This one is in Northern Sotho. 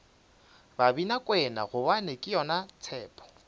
babinakwena gobane ke yona tshepo